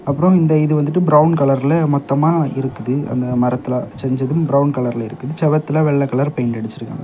அப்ரோ இந்த இது வந்துட்டு பிரவுன் கலர்ல மொத்தமா இருக்குது அந்த மரத்தில செஞ்சது பிரவுன் கலர்ல இருக்குது செவுத்துல வெள்ள கலர் பெய்ன்ட் அடிச்சிருக்காங்க.